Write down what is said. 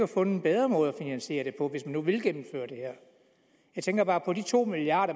fundet en bedre måde at finansiere det på hvis man nu vil gennemføre det her jeg tænker bare på at de to milliard